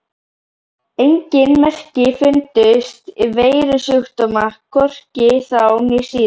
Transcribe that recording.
ENGIN merki fundust um veirusjúkdóma, hvorki þá né síðar!